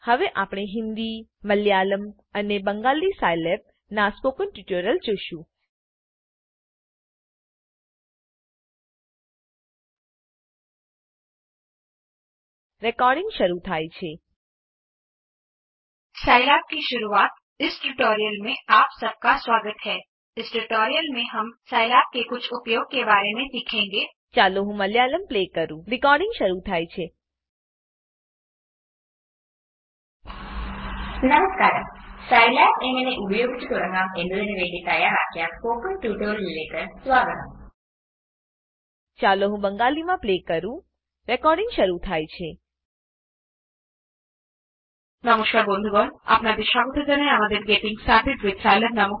હવે આપણે હિન્દી મલયાલમ અને બંગાલી સ્કિલાબ સાઈલેબના સ્પોકન ટ્યુટોરિયલ્સ જોશું